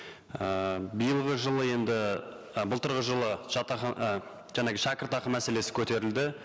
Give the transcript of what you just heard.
ііі биылғы жылы енді і былтырғы жылы і жаңағы шәкіртақы мәселесі көтерілді